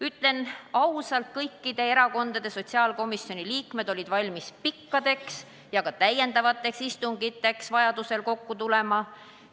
Ütlen ausalt, et kõikide erakondade sotsiaalkomisjoni liikmed olid valmis pikkadeks istungiteks ja oldi valmis vajaduse korral ka lisaistungiteks kokku tulema.